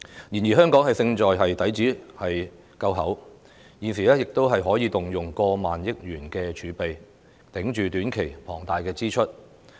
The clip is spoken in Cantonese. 然而，香港勝在底子夠厚，現時可以動用過萬億元儲備，支撐短期的龐大支出。